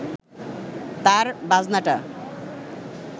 তার বাজনাটা